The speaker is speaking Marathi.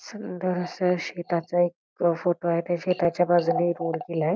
सुंदर अस शेताचा एक फोटो आहे त्या शेताच्या बाजूनी रोड गेलाय.